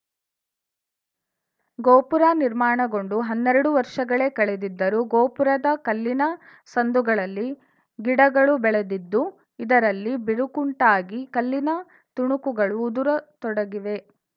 ಗೋಪುರ ನಿರ್ಮಾಣಗೊಂಡು ಹನ್ನೆರಡು ವರ್ಷಗಳೇ ಕಳೆದಿದ್ದರು ಗೋಪುರದ ಕಲ್ಲಿನ ಸಂದುಗಳಲ್ಲಿ ಗಿಡಗಳು ಬೆಳೆದಿದ್ದು ಇದರಲ್ಲಿ ಬಿರುಕುಂಟಾಗಿ ಕಲ್ಲಿನ ತುಣುಕುಗಳು ಉದುರತೊಡಗಿವೆ